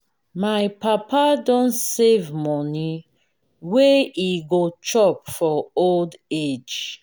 my papa don save moni wey e go chop for old age.